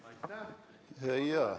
Aitäh!